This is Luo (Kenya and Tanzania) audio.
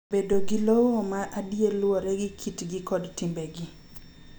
Bedo gi lowo ma adier luwore gi kitgi kod timbegi.